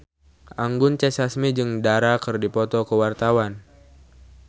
Anggun C. Sasmi jeung Dara keur dipoto ku wartawan